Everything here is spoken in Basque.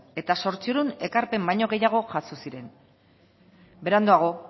eta zortziehun ekarpen baino gehiago jaso ziren beranduago